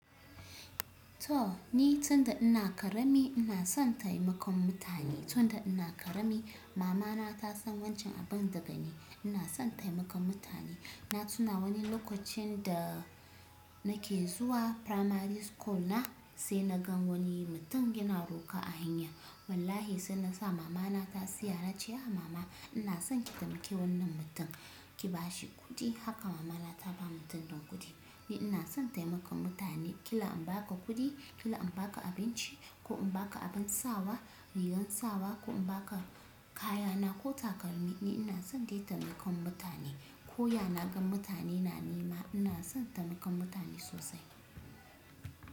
To ni tun da ina ƙarami ina son taimakon mutane. Tun da ina ƙarami mama na ta san wancan abin daga ne. Ina son taimakon mutane. Na tuna wani lokacin da nake zuwa primary school na sai na gan wani mutum yana roƙa a hanya. Wallahi sai na sa mama na ta siya. Na ce wa mama ina son ki taimake wannan mutum, ki ba shi kuɗi. Haka mama na ta ba mutum din kuɗi. Ni ina son taimakon mutane, kila in ba ka kuɗi, kila in ba ka abinci ko in ba ka abin sawa, rigar sawa ko in ba ka kaya na ko takalmi. Ni ina son dai taimakon mutane. Ko ya na gan mutane na nema ina son taimakon mutane sosai.